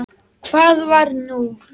Hvað var nú?